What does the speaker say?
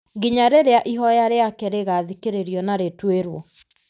nginya rĩrĩa ihoya rĩake rĩgathikĩrĩrio na rĩtuĩrwo.